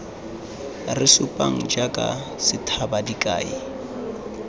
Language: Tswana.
re supang jaaka sethaba dikai